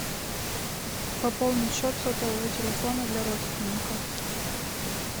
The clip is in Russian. пополнить счет сотового телефона для родственника